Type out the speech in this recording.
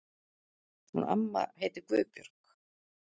Hún amma heitir Guðbjörg.